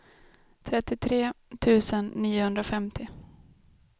trettiotre tusen niohundrafemtio